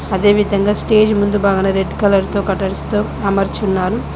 అదేవిధంగా స్టేజ్ ముందు బాగాన రెడ్ కలర్ తో కర్టెన్స్ తో అమర్చున్నారు.